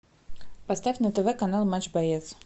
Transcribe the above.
поставь на тв канал матч боец